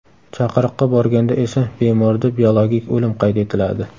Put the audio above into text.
Chaqiriqqa borganda esa bemorda biologik o‘lim qayd etiladi.